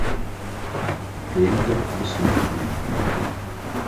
лента бессмертные найти